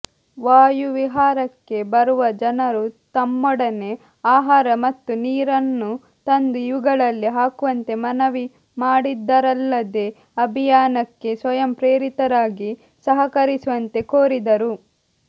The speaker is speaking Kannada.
ವಾಯು ವಿಹಾರಕ್ಕೆ ಬರುವಜನರುತಮ್ಮೊಡನೆಆಹಾರ ಮತ್ತು ನೀರ ನ್ನುತಂದು ಇವುಗಳಲ್ಲಿ ಹಾಕುವಂತೆ ಮನವಿ ಮಾಡಿದರಲ್ಲದೇಅಭಿಯಾನಕ್ಕೆ ಸ್ವಯಂ ಪ್ರೇರಿತರಾಗಿ ಸಹಕರಿಸುವಂತೆ ಕೋ ರಿದರು